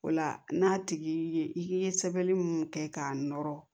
O la n'a tigi ye i ye sɛbɛnni mun kɛ k'a nɔrɔ